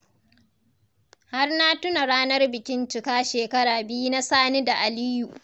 Har na tuna ranar bikin cika shekara biyu na Sani da Aliyu.